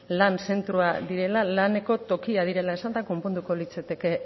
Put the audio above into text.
lan zentroa direla laneko tokia direla esanda konponduko litzateke